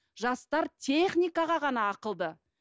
жастар техникаға ғана ақылды